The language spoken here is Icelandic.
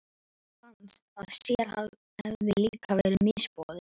Honum fannst að sér hefði líka verið misboðið.